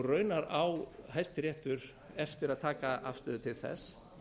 raunar á hæstiréttur eftir að taka afstöðu til þess